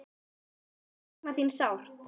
Sakna þín sárt.